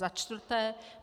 Za čtvrté.